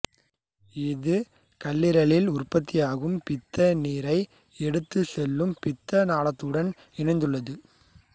இது கல்லீரலில் உற்பத்தியாகும் பித்தநீரை எடுத்துச் செல்லும் பித்த நாளத்துடன் இணைந்துள்ளது